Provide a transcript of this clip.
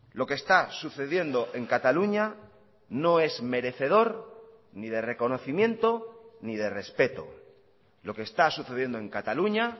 lo que está sucediendo en cataluña no es merecedor ni de reconocimiento ni de respeto lo que está sucediendo en cataluña